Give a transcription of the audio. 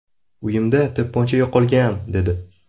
Uyimda to‘pponcha yo‘qolgan”, dedi.